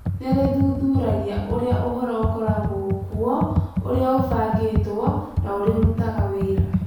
Nĩ rĩthuthuragia ũrĩa ũhoro ũkoragwo kuo, ũrĩa ũbangĩtwo, na ũrĩa ũrutaga wĩra.